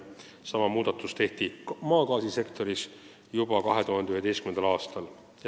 Sama muudatus tehti maagaasisektoris juba 2011. aastal.